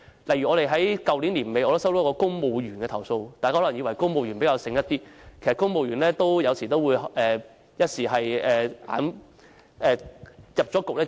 例如我在去年年底接獲一名公務員的投訴，大家可能以為公務員會較為聰明，但有時候公務員也會一不留神，墮入陷阱。